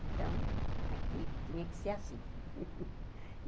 Então, aqui tinha que ser assim.